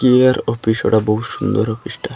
Clear office ওটা বহুত সুন্দর অফিসটা।